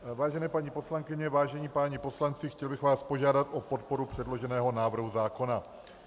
Vážené paní poslankyně, vážení páni poslanci, chtěl bych vás požádat o podporu předloženého návrhu zákona.